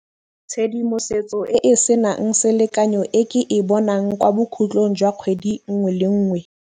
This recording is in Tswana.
Tshedimosetso e e senang selekanyo e ke e bonang kwa bokgutlong jwa kgwedi nngwe le nngwe.